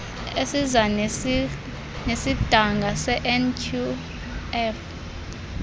esiza nesidanga senqf